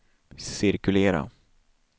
cirkulera